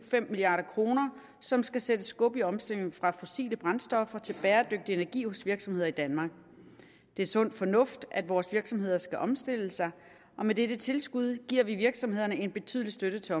tre milliard kr som skal sætte skub i omstillingen fra fossile brændstoffer til bæredygtig energi hos virksomheder i danmark det er sund fornuft at vores virksomheder skal omstille sig og med dette tilskud giver vi virksomhederne en betydelig støtte til